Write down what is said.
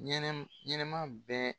Ɲɛnɛmu ɲɛnɛma bɛɛ